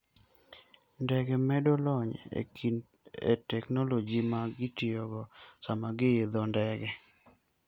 Ndege medo lony e teknoloji ma gitiyogo sama giidho ndege.